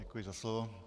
Děkuji za slovo.